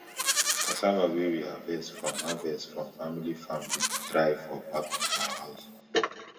cassava wey we harvest from harvest from family farm dey dry for back of house